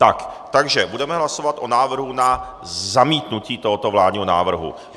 Takže budeme hlasovat o návrhu na zamítnutí tohoto vládního návrhu.